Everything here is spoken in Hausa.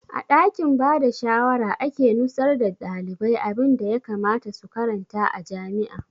A ɗakin bada shawara ake nusar da ɗalibai abunda ya kamata su karanta a jami'a